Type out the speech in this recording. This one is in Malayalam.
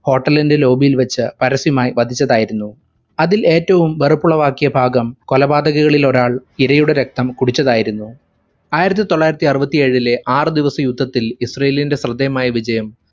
hotel ഇന്റെ lobby ഇൽ വെച്ച് പരസ്യമായി വധിച്ചതായിരുന്നു. അതിൽ ഏറ്റവും വെറുപ്പുളവാക്കിയ ഭാഗം കൊലപാതകരിൽ ഒരാൾ ഇരയുടെ രക്‌തം കുടിച്ചതായിരുന്നു. ആയിരത്തി തൊള്ളായിരത്തി അറുപത്തിയേഴിലെ ആറു ദിവസ യുദ്ധത്തിൽ ഇസ്രാഈലിന്റെ ശ്രദ്ധേയമായ വിജയം